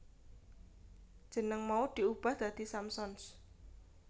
Jeneng mau diubah dadi Samsons